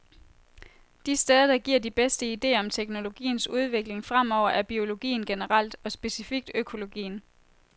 De steder, der giver de bedste ideer om teknologiens udvikling fremover er biologien generelt, og specifikt økologien.